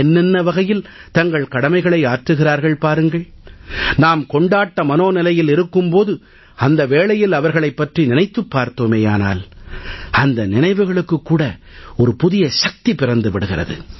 என்னென்ன வகையில் தங்கள் கடமைகளை ஆற்றுகிறார்கள் பாருங்கள் நாம் கொண்டாட்ட மனோநிலையில் இருக்கும் போது அந்த வேளையில் அவர்களைப் பற்றி நினைத்துப் பார்த்தோமேயானால் அந்த நினைவுகளுக்கு கூட ஒரு புதிய சக்தி பிறந்து விடுகிறது